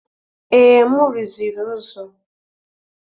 Ee, m rụziri ụzọ.